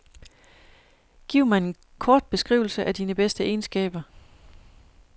Giv mig en kort beskrivelse af dine bedste egenskaber.